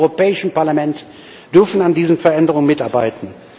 Wir im Europäischen Parlament dürfen an diesen Veränderungen mitarbeiten.